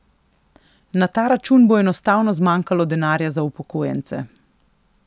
Na ta račun bo enostavno zmanjkalo denarja za upokojence.